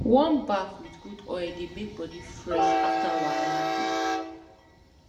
warm baff with good oil dey make body fresh after wahala day